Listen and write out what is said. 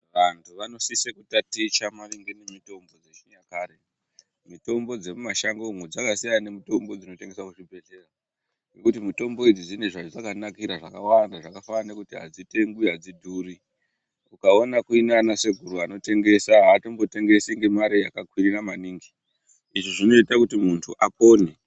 Vantu vanosise kutaticha maringe nge mitombo yechi nyakare mitombo dze mu mashango umo dzakasiyana ne mutombo dzino tengeswa ku zvibhedhlera nekuti mitombo idzi dzine zvadzaka nakira zvakawanda zvaka fanana nekuti adzi tengwi adzi kuri ukaona kuina ana sekuru anotengesa atombo tengesi nge mari yaka kwirira maningi izvi zvinoita kuti muntu apone.